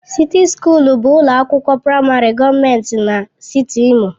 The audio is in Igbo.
Sịti Sukuul bụ ụlọ akwụkwọ praịmarị gọọmentị na steeti Imo.